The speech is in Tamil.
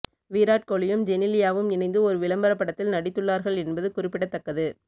வீராட் கோலியும் ஜெனிலியாவும் இணைந்து ஒரு விளம்பர படத்தில் நடித்துள்ளார்கள் என்பது குறிப்பிடத்தக்கது